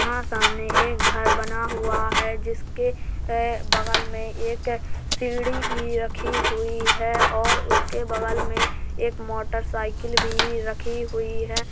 वहाँ सामने एक घर बना हुआ है जिसके बगल में एक सीढ़ी भी रखी हुई है और उस के बगल में एक मोटरसाइकिल भी रखी हुई है।